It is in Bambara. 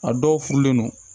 A dɔw furulen don